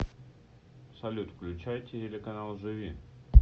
салют включай телеканал живи